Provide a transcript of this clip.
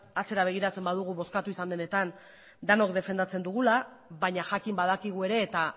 atzera begiratzen badugu bozkatu izan denetan denok defendatzen dugula baina jakin badakigu ere eta